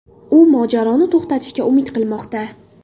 U mojaroni to‘xtatishga umid qilmoqda.